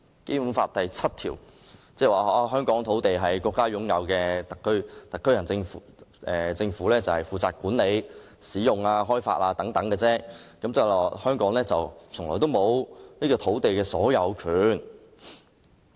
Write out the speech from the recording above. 《基本法》第七條訂明香港的土地屬於國家所有，由香港特別行政區政府負責管理、使用、開發，即是說香港沒有土地的所有權。